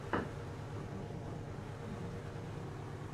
покажи подкасты на ютубе